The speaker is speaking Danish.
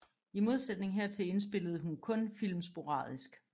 I modsætning hertil indspillede hun kun film sporadisk